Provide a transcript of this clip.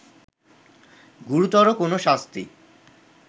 গুরুতর কোন শাস্তি